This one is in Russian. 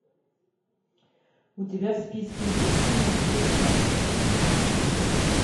у тебя в списке есть ночь без сна